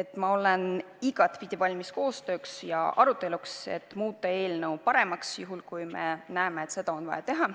et ma olen igatpidi valmis koostööks ja aruteluks, et muuta eelnõu paremaks, kui me näeme, et seda on vaja teha.